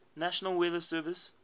national weather service